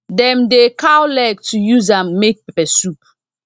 dem dey cow leg to use am make peppersoup